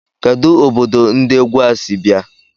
Kedụ obodo ndi égwu a sị bịa?